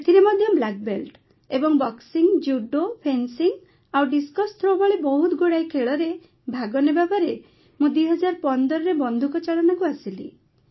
ସେଥିରେ ମଧ୍ୟ ମୁଁ ବ୍ଲାକ୍ବେଲ୍ଟ ଏବ ବକ୍ସିଂ ଜୁଡୋ ଫେନ୍ସିଂ ଆଉ ଡିସ୍କସ୍ ଥ୍ରୋ ଭଳି ବହୁତ ଗୁଡ଼ାଏ କ୍ରୀଡ଼ାରେ ଭାଗ ନେବାପରେ ମୁଁ ୨୦୧୫ରେ ବନ୍ଧୁକ ଚାଳନାକୁ ଆସିଲି